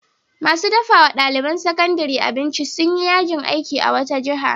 Masu dafa wa ɗaliban sakandare abinci sun yi yajin aiki a wata jiha.